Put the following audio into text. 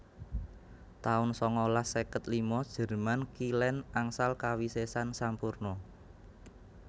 taun sangalas seket lima jerman Kilèn angsal kawisésan sampurna